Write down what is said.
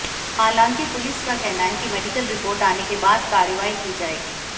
हालांकि पुलिस का कहना है कि मेडिकल रिपोर्ट आने के बाद कार्रवाई की जाएगी